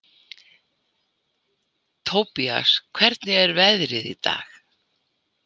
Tobías, hvernig er veðrið í dag?